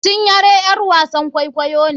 Cinyere ƴar wasan kwaikwayo ne.